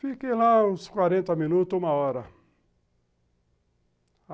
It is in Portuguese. Fiquei lá uns quarenta minutos, uma hora.